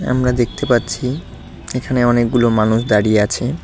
আমরা দেখতে পাচ্ছি এখানে অনেকগুলো মানুষ দাঁড়িয়ে আছে।